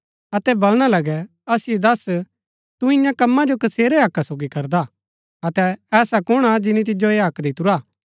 अतै वलणा लगै असिओ दस्स तु इन्या कम्मा जो कसेरै हक्का सोगी करदा अतै ऐसा कुण हा जिनी तिजो ऐह हक्क दितुरा